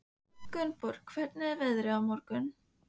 Gunnborg, hvernig er veðrið á morgun?